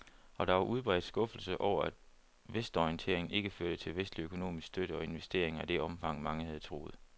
Og der var udbredt skuffelse over, at vestorienteringen ikke førte til vestlig økonomisk støtte og investeringer i det omfang, mange havde troet.